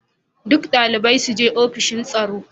Duk dalibai su je ofishin tsaro.